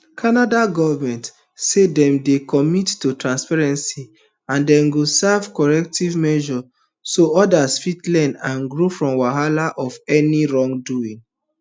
canada government say dem dey committed to transparency and dem go serve corrective measures so odas fit learn and grow from wahala of any wrongdoing